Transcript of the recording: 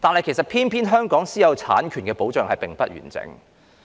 然而，偏偏香港的私有產權保障並不完整。